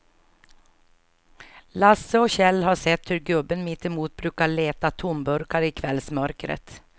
Lasse och Kjell har sett hur gubben mittemot brukar leta tomburkar i kvällsmörkret.